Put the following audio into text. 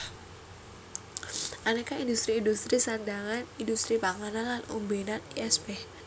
Anéka indhustri indhustri sandhangan indhustri panganan lan ombènan lsp